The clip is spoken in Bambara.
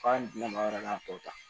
K'an dɛmɛ a tɔ ta